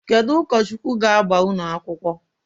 Kedu ụkọchukwu ga-agba unu akwukwọ?